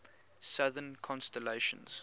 southern constellations